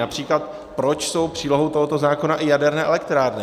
Například proč jsou přílohou tohoto zákona i jaderné elektrárny?